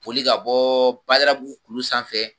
Boli ka bɔ Badalabu kulu sanfɛ.